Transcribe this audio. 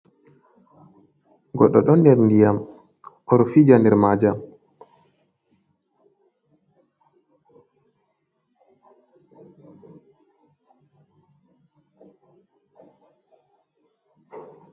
Goɗɗo do der diyam oɗ fija nder majum.